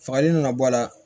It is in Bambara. Fagali nana bɔ a la